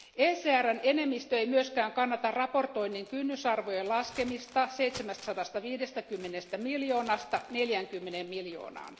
ECRn enemmistö ei myöskään kannata raportoinnin kynnysarvojen laskemista 750 miljoonasta 40 miljoonaan.